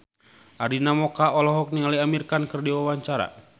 Arina Mocca olohok ningali Amir Khan keur diwawancara